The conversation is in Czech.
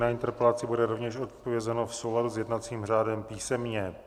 Na interpelaci bude rovněž odpovězeno v souladu s jednacím řádem písemně.